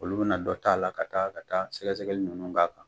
Olu bina dɔ ta a la ka taa ka taa sɛgɛsɛgɛli ninnu b'an kan